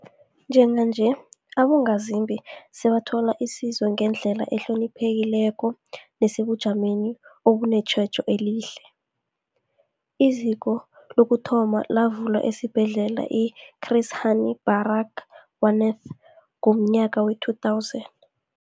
Njenganje, abongazimbi sebathola isizo ngendlela ehloniphekileko nesebujameni obunetjhejo elihle. IZiko lokuthoma lavulwa esiBhedlela i-Chris Hani Barag wanath ngomnyaka we-2000.